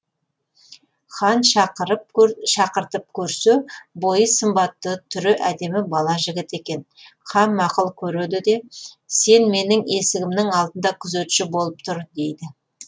хан шақыртып көрсе бойы сымбатты түрі әдемі бала жігіт екен хан мақұл көреді де сен менің есігімнің алдында күзетші болып тұр дейді